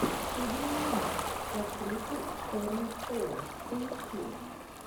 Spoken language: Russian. судная ночь с актрисой шэрон стоун поищи